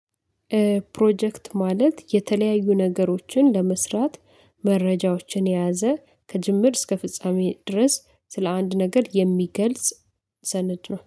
ፕሮጀክት ማለት የተለያዩ ነገሮችን ለመስራት መረጃዎችን የያዘ ከጅምር እስከ ፍጻሜ ድረስ ስለ አንድ ነገር የሚገልጽ ሰነድ ነው